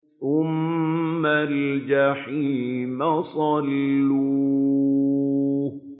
ثُمَّ الْجَحِيمَ صَلُّوهُ